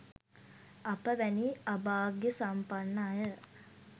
අප වැනි අභාග්‍ය සම්පන්න අය